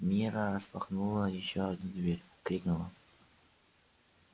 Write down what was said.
мирра распахнула ещё одну дверь крикнула